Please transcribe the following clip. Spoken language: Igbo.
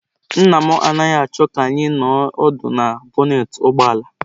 Nna m anaghị achọọ ka anyị nọ ọdụ na bọnetị ụgbọ ala.